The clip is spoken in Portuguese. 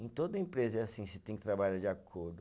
Em toda empresa é assim, você tem que trabalhar de acordo.